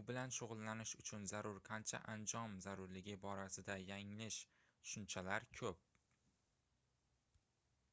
u bilan shugʻullanish uchun zarur qancha anjom zarurligi borasida yanglish tushunchalar koʻp